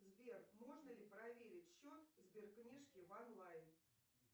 сбер можно ли проверить счет сберкнижки в онлайн